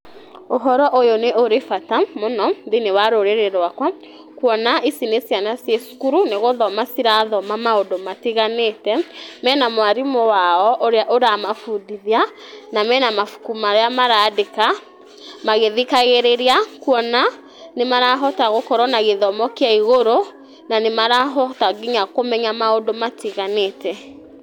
Ũhoro ũyũ nĩ ũrĩ bata mũno thĩiniĩ wa rũrĩ rwaka kũona ici nĩ ciana ciĩ cukuru nĩgũthoma cirathoma maũndũ matiganĩte mena mwarimũ wao ũrĩa ũramabundithia na mena mabuku maria marandĩka magĩthikagĩrĩria kuona nĩ marahota gũkorwo na gĩthomo kĩa igũrũ na nĩ marahota nginya kũmenya maũndũ matiganĩte.